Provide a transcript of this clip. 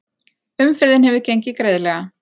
Umferðin hefur gengið greiðlega